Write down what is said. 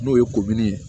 N'o ye ye